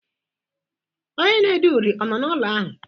Onye na-ede uri ọ nọ n'ụlọ ahụ?